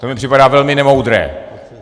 To mi připadá velmi nemoudré.